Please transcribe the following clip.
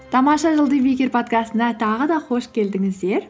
тамаша жыл подкастына тағы да қош келдіңіздер